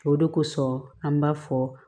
O de kosɔn an b'a fɔ